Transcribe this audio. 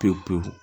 Pewu pewu